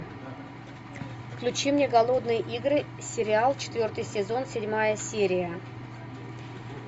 включи мне голодные игры сериал четвертый сезон седьмая серия